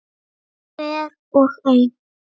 Hver og ein.